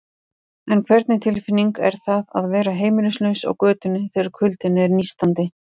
En hvernig tilfinning er það að vera heimilislaus á götunni, þegar kuldinn er nístandi?